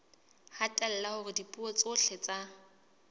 hatella hore dipuo tsohle tsa